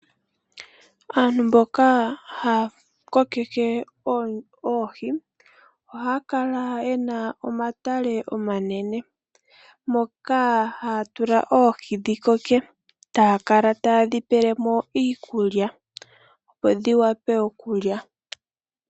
Aantu mboka haya kokeke oohi ohaya kala yena omatale omanene. Moka haya tula oohi dhi koke taya kala ta yedhi pelemo iikulya, opo dhiwape okulya.